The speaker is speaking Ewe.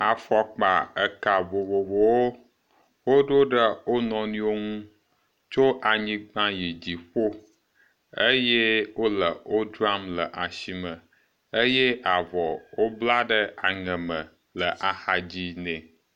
Afɔkpa eka vovovowo, woɖo ɖe wo nɔnɔewo ŋu tso anyigba yi dziƒo eye wole wo dzram le asime eye avɔ wobla ɖe aŋeme le axadzi nɛ.